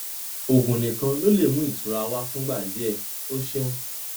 oògùn nìkan ló lè mú ìtura wá fúngbà díẹ o ṣeun